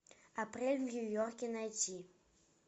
апрель в нью йорке найти